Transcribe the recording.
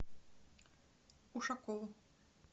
ушакову